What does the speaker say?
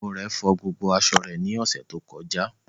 Iyạwo rẹ fo gbogbo aṣọ re ni ose to koja